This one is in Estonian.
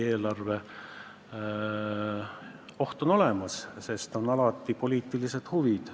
See oht on olemas, sest on alati mängus poliitilised huvid.